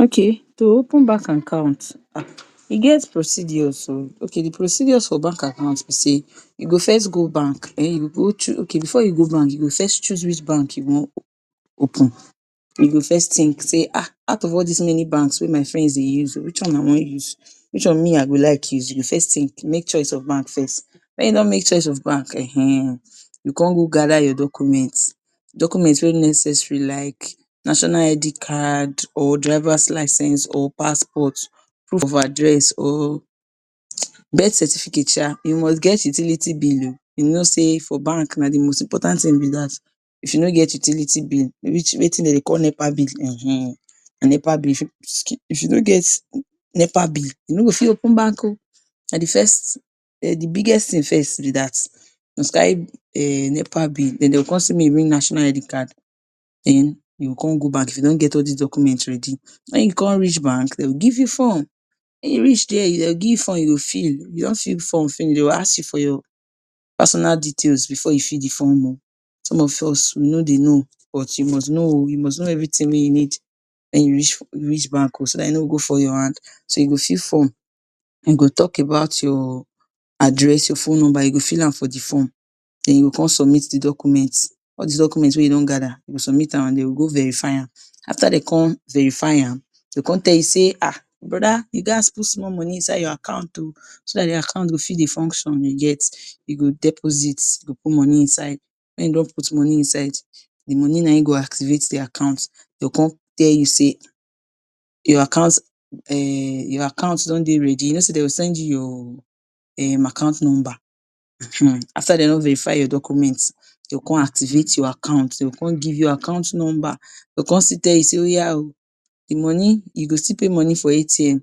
Okay, to open bank account, um e get procedures oh. Okay di procedures for bank account be sey you go first go bank, um you go. Okay, before you go bank, you go first choose which you wan open. You go first think sey, um out of all dis many banks wey my friends dey use oh which one I wan use? Which one me I go like use? You go first think, make choice of bank first. Wen you don make choice of bank, um, you con go gather your document. Document wey necessary like National ID Card, or driver's license, or passport, proof of address or birth certificate um. You must get utility bill oh. You know sey for bank, na di most important tin be dat. If you no get utility bill wetin de dey call Nepa bill, um na Nepa bill fit if you no get Nepa bill, you no go fit open bank oh. Na di first um di biggest tin first be dat. Na to carry um Nepa bill, then de go con say make you bring National ID Card. Then you go con go bank if you don get all dis document ready. Wen you con reach bank, de go give you form. Wen you reach there, de go give you form you go fill. If you don fill di form finish, de will ask you for your personal details before you fill di form oh. Some of us we no dey know. But you must know oh, you must know everytin wey you need wen you reach reach bank oh so dat you no go go fall your hand. So you go fill form, den go talk about your address, your phone nomba you go fill am for di form. Then, you go con submit di document. All dis document wey you don gather, you go submit am an de go go verify am. After de con verify am, de go con tell you sey, “um broda, you gaz put small money inside your account oh so dat di account go fit dey function.” You get? You go deposit, you go put money inside. Wen you don put money inside, di money na ein go activate di account. De go con tell you sey your account um your account don dey ready. You know sey de go send you your um account nomba. um After de don verify your document, de go con activate your account, de go con give you account nomba. De go con still tell you sey oya oh, di money, you go still pay money for ATM,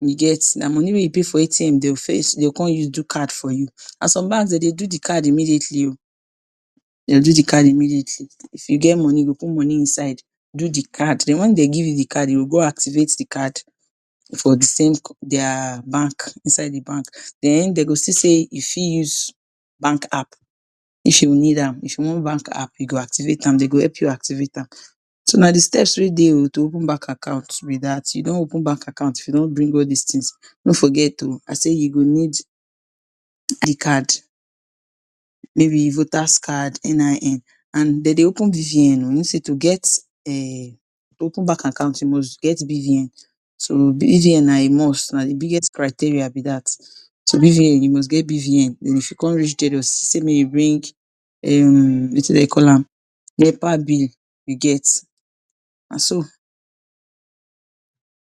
you get? Na money wey you pay for ATM de will first de go con use do card for you. An some banks de dey do di card immediately oh. De dey do di card immediately. If you get money, you go put money inside do di card. Then wen de give you di card, you go go activate di card for di same dia bank, inside di bank. Then de go still say you fit use bank app. If you will need am, if you want bank app, you go activate am. De go help you activate am. So, na di steps wey dey oh to open bank account be dat. You don open bank account, if you don bring all dis tins. No forget oh I say you go need card maybe Voters Card, NIN. An de dey open BVN oh. You know sey to get um to open bank account you must get BVN. So BVN na a must. Na di biggest criteria be dat. So BVN, you must get BVN. Then if you con reach there, de will say make you bring um wetin de dey call am? Nepa bill, you get? Na so.